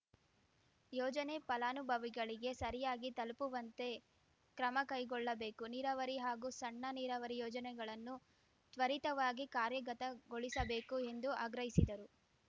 ಯೋಜನೆ ಫಲಾನುಭವಿಗಳಿಗೆ ಸರಿಯಾಗಿ ತಲುಪುವಂತೆ ಕ್ರಮಕೈಗೊಳ್ಳಬೇಕು ನೀರಾವರಿ ಹಾಗೂ ಸಣ್ಣ ನೀರಾವರಿ ಯೋಜನೆಗಳನ್ನು ತ್ವರಿತವಾಗಿ ಕಾರ್ಯಗತಗೊಳಿಸಬೇಕು ಎಂದು ಆಗ್ರಹಿಸಿದರು